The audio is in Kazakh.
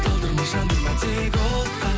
талдырма жандырма тек отқа